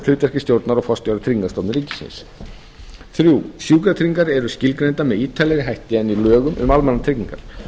hlutverki stjórnar og forstjóra tryggingastofnunar ríkisins þriðja sjúkratryggingar eru skilgreindar með ítarlegri hætti en í lögum um almannatryggingar